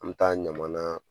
An mi taa ɲamana